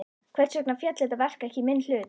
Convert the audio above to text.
Hvers vegna féll þetta verk ekki í minn hlut?